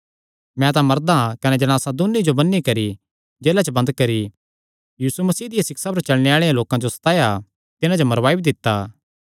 मैं तां मरदा कने जणासा दून्नी जो बन्नी करी जेला च बंद करी यीशु मसीह दियां सिक्षां पर चलणे आल़े लोकां जो सताया तिन्हां जो मरवाई भी दित्ता